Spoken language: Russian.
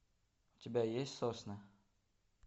у тебя есть сосны